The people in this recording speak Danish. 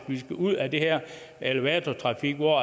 vi skal ud af den her elevatortrafik hvor